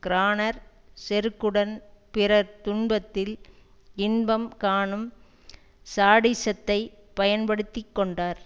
கிரானர் செருக்குடன் பிறர் துன்பத்தில் இன்பம் கானும் சாடிஸத்தை பயன்படுத்தி கொண்டார்